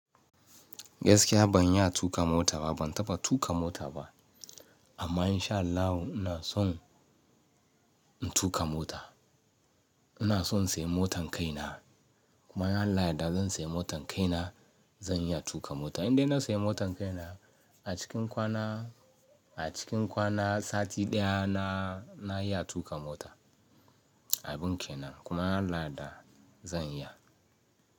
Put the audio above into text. Gaskiya ban iya tuƙa mota ba, ban taɓa tuƙa mota ba. Amma in sha Allahu ina son in tuƙa mota. Ina son in sayi motan kaina. Kuma in Allah yadda zan sayi motan kaina, zan iya tuƙa mota. Indai na siya motan kaina, a cikin kwana, a cikin kwana sati ɗaya na, na iya tuƙa mota. Abin kenan. Kuma inbAllah yadda zan iya.